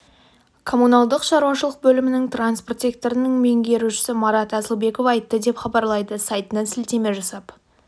коммуналдық шаруашылық бөлімінің транспорт секторының меңгерушісі марат асылбеков айтты деп хабарлайды сайтына сілтеме жасап